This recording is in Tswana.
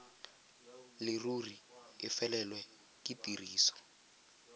leruri e felelwe ke tiriso